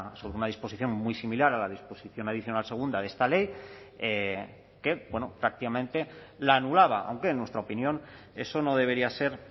sobre una disposición muy similar a la disposición adicional segunda de esta ley que prácticamente la anulaba aunque en nuestra opinión eso no debería ser